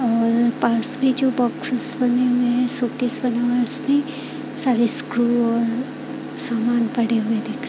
और पास में जो बॉक्सेस बने हुए हैं शोकेस बना हुआ है उसमें सारे स्क्रू और समान पड़े हुए दिख --